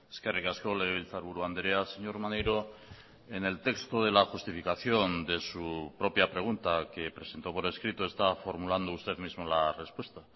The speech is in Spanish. eskerrik asko legebiltzarburu andrea señor maneiro en el texto de la justificación de su propia pregunta que presentó por escrito está formulando usted mismo la respuesta